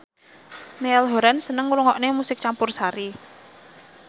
Niall Horran seneng ngrungokne musik campursari